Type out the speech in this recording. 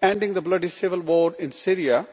ending the bloody civil war in Syria